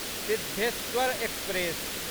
Siddheshwar express